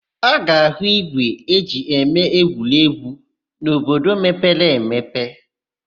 A ga-áhụ̀ ígwè e ji eme egwuregwu n'obodo mepere emepe.